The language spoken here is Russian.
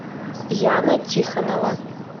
яна тихонова